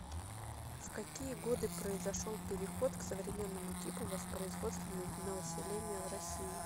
в какие годы произошел переход к современному типу воспроизводства населения в россии